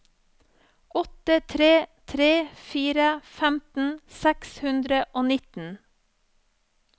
åtte tre tre fire femten seks hundre og nitten